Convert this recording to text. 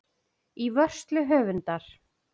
Í vörslu höfundar.